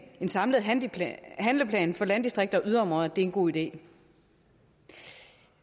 samlet handleplan handleplan for landdistrikter og yderområder er en god idé